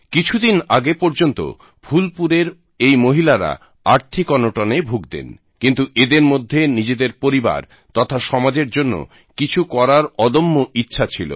কিছুদিন আগে পর্যন্ত ফুলপুরের এই মহিলারা আর্থিক অনটনে ভুগতেন কিন্তু এদের মধ্যে নিজেদের পরিবার তথা সমাজের জন্য কিছু করার অদম্য ইচ্ছা ছিল